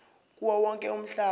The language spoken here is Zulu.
kuwo wonke umhlaba